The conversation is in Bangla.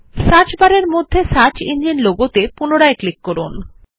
সার্চ বারের মধ্যে সার্চ ইঞ্জিন লোগো উপর পুনরায় ক্লিক করুন